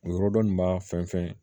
O yɔrɔ dɔ nin b'a fɛn fɛn